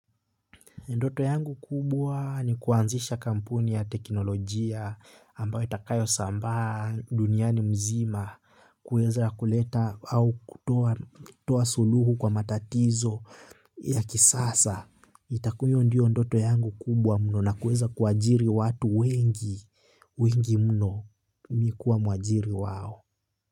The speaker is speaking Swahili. Ndoto yangu kubwa ni kuanzisha kampuni ya teknolojia ambayo itakayo sambaa duniani mzima kuweza kuleta au kutoa suluhu kwa matatizo ya kisasa. Itakuwa hiyo ndiyo ndoto yangu kubwa mno na kuweza kuajiri watu wengi, wengi mno mimi kuwa mwajiri wao.